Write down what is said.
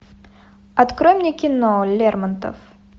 открой мне кино лермонтов